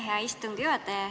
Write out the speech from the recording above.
Aitäh, hea istungi juhataja!